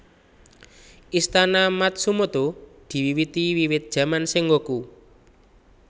Istana Matsumoto diwiwiti wiwit jaman Sengoku